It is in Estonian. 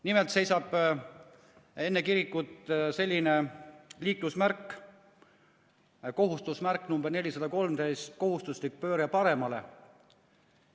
Nimelt seisab enne kirikut selline liiklusmärk, kohustusmärk nr 413 "Kohustuslik pööre paremale".